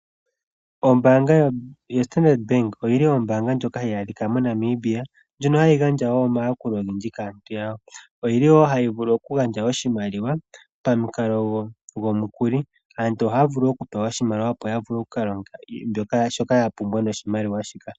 Ombanga yoStandard Bank oyi li ombanga ndjoka hayi adhika moNamibia ndjono hayi gandja wo omayakulo ogendji kaantu yawo. Oyi li wo hayi vulu okugandja oshimaliwa pamukalo gomukili. Aantu ohaya vulu pewa oshimaliwa opo ya vule okulonga shoka ya pumbwa noshimaliwa shika.